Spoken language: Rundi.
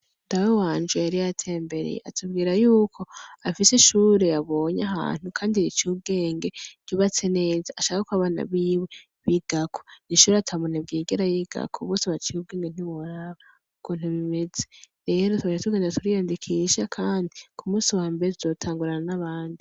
Dawe wanje yari yatembereye atubwira yuko afise ishure yabonye ahantu kandi riciy 'ubwenge ryubatse neza, ashaka kw'abana biwe bigako, ishure ata munebwe yigera yigako bose baciye ubwengentiworaba ukuntu rimeze, rero twaciye tugenda turiyandikisha kandi kumusi wambere tuzotangurana n'abandi.